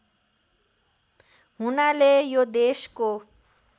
हुनाले यो देशको